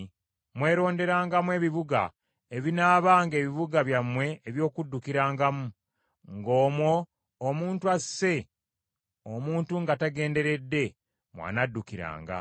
mweronderangamu ebibuga ebinaabanga ebibuga byammwe eby’okuddukirangamu; ng’omwo omuntu asse omuntu nga tagenderedde mw’anaddukiranga.